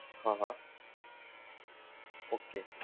હા હા, okay